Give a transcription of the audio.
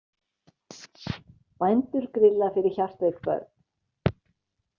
Bændur grilla fyrir hjartveik börn